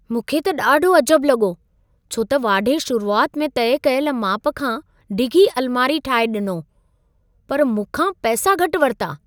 मूंखे त ॾाढो अजबु लॻो, छो त वाढे शुरुआति में तइ कयलु माप खां डिघी अल्मारी ठाहे ॾिनो, पर मूंखा पैसा घटि वरिता।